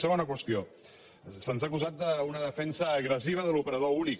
segona qüestió se’ns ha acusat d’una defensa agressiva de l’operador únic